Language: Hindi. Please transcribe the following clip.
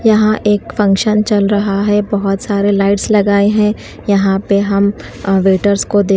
यहां एक फंक्शन चल रहा है बहोत सारे लाइट्स लगाए हैं यहां पे हम वेटर्स को देख--